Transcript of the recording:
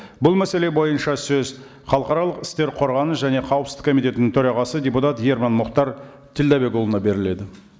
бұл мәселе бойынша сөз халықаралық істер қорғаныс және қауіпсіздік комитетінің төрағасы депутат ерман мұхтар тілдәбекұлына беріледі